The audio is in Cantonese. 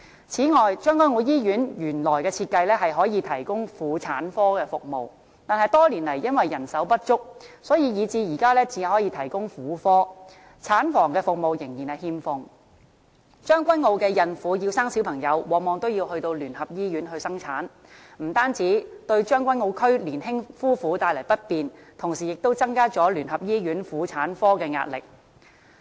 此外，將軍澳醫院原來的設計可以提供婦產科服務，但多年來因為人手不足，所以至今只能提供婦科，產房服務仍然欠奉，將軍澳區的孕婦要生小朋友，往往要到聯合醫院生產，不但對將軍澳區年輕夫婦帶來不便，同時亦增加了聯合醫院婦產科的壓力。